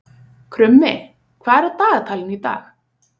Krummi, hvað er á dagatalinu í dag?